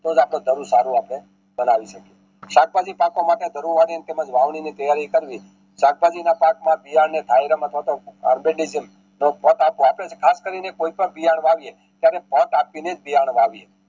તોજ આપડું ધારું આપણે સારું બનાવી શકીએ શાકભાજી પાકવા માટે ધરુવાણી તેમજ વાવની ની તૈયારી કરવી શાકભાજી ના ખાસ કરીને કોઈ પણ પીઆર વાવીએ ત્યારે આપીને પીઆર વાવીએ